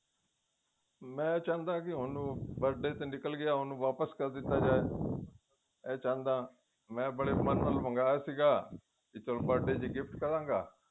ਮੈ ਚਾਹੁੰਦਾ ਹਾਂ ਕਿ ਹੁਣ birthday ਤਾਂ ਨਿੱਕਲ ਗਿਆ ਹੁਣ ਵਾਪਿਸ ਕਰ ਦਿੱਤਾ ਜਾਵੇ ਏਹ ਚਾਹੁੰਦਾ ਮੈ ਬੜੇ ਮਨ ਨਾਲ ਮੰਗਵਾਇਆ ਸੀਗਾ ਵੀ ਚਲੋ birthday ਤੇ gift ਕਰਾਗਾ